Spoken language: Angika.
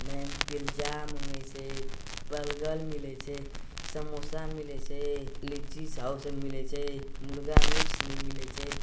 ने पिलजा मंगई छे बलगल मिलइ छे समोसा मिलइ छे लीची सौस मिले छे मुर्गा मीट्स मिलइ छे |